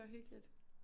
Det var hyggeligt